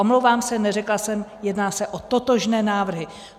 Omlouvám se, neřekla jsem, jedná se o totožné návrhy.